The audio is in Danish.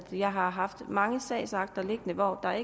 har haft mange sagsakter liggende hvor der